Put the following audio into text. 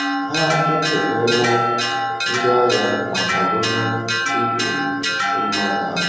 Ha ekelela ndị agha ma kwadoro igbu mmadụ ahụ.